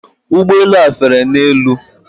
Ụgbọ elu a fere n'elu.